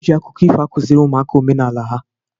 Eji akụkọ ifo akụziri ụmụaka omenala ha.